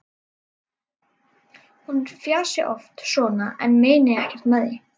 Hún fjasi oft svona en meini ekkert með því.